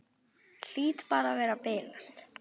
Hlýt bara að vera að bilast.